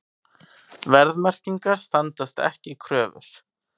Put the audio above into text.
Verðmerkingar standast ekki kröfur